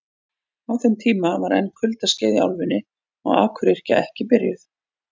Á þeim tíma var enn kuldaskeið í álfunni og akuryrkja ekki byrjuð.